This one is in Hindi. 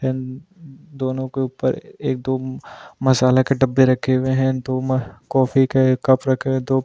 इन दोनों के ऊपर एक दो मसाला के डब्बे रखे हुए हैं दो कॉफी के कप रखे हुए दो --